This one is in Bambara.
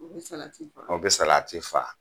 O bɛ salati faa; O bɛ salati faa.